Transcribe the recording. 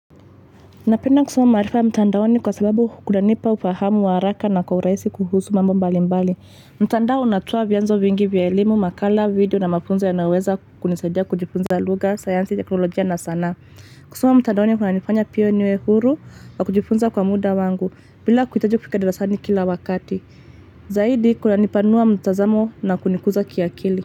Napenda kusoma maarifa ya mtandaoni kwa sababu kunanipa ufahamu wa haraka na kwa urahisi kuhusu mambo mbali mbali. Mtandao natoa vyanzo vingi vya elimu, makala, video na mafunzo yanayoweza kunisaidia kujifunza lugha, sayansi, teknolojia na sanaa. Kusoma mtandaoni kunanifanya pia niwe huru wa kujifunza kwa muda wangu bila kuhitaji kufika darasani kila wakati. Zaidi kunanipanua mtazamo na kunikuza kiakili.